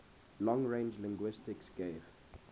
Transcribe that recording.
long range linguistics gave